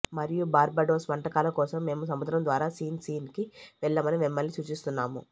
మరియు బార్బడోస్ వంటకాల కోసం మేము సముద్రం ద్వారా సిన్ సిన్ కి వెళ్ళమని మిమ్మల్ని సూచిస్తున్నాము